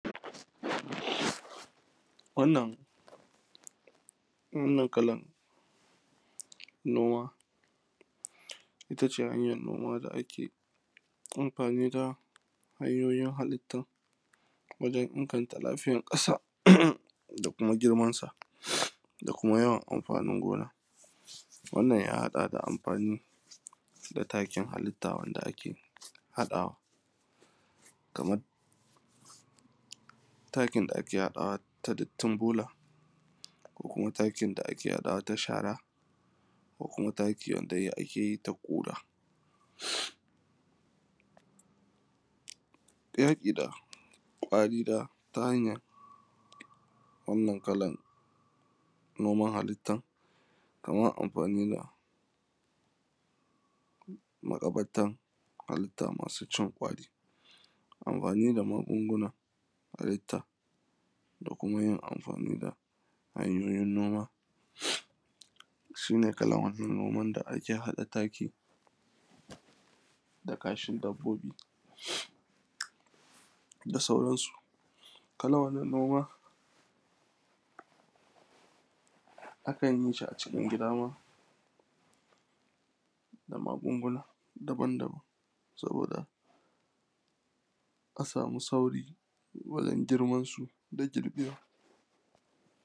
wannan wannan kalan noma ita ce hanyar noma da ake amfani da hanyoyin halitta wajen inganta lafiyar ƙasa da kuma girmansa da kuma yawan amfanin gona wannan ya haɗa da amfani da takin halitta wanda ake haɗawa kamar takin da ake haɗawa ta dattin bola ko kuma takin da ake haɗawa ta shara ko kuma taki wanda ake yi ta koɗa yaƙi da ƙwari da hanyar wannan kalan noman halittan kaman amfani da maƙabartan halitta masu cin ƙwari amfani da magungunan halitta da kuma yin amfani da hanyoyin noma su ne kalan wannan noman da ake haɗa taki da kashin dabbobi da sauransu kalan wannan noma akan yi shi a cikin gida ma da magunguna daban daban saboda a samu sauri wajen girmansu da girbewa